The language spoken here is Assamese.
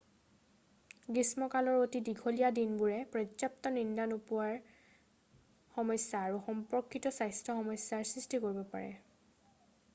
গ্ৰীষ্মকালৰ অতি দীঘলীয়া দিনবোৰে পৰ্য্যাপ্ত নিদ্ৰা নোপোৱাৰ সমস্যা আৰু সম্পৰ্কিত স্বাস্থ্য সমস্যাৰ সৃষ্টি কৰিব পাৰে